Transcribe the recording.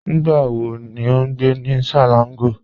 Nígbà wò ní o n gbẹ̀ ní Selangọ̀?